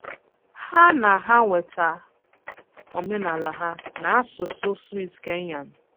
Há ná há wéta óménálá ha ná ásụsụ Swíss-Kényán.